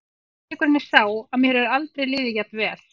Sannleikurinn er sá að mér hefur aldrei liðið jafn vel.